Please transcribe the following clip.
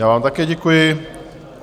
Já vám také děkuji.